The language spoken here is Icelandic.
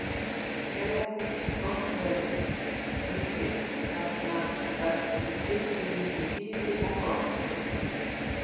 Hérlendis er frostveðrun mikil vegna þess hve skipti milli þíðu og frosts eru tíð.